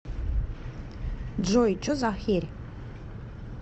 джой че за херь